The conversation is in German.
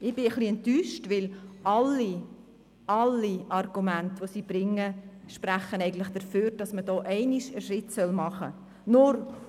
Ich bin etwas enttäuscht, weil alle, alle Argumente, die sie bringt, sprechen eigentlich dafür, dass man einmal einen Schritt machen sollte.